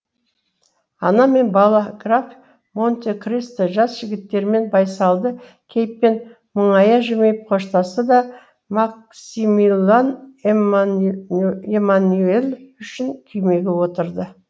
ана мен бала граф монте кристо жас жігіттермен байсалды кейіппен мұңая жымиып қоштасты да максимилан эмманюель үшеуі күймеге отырды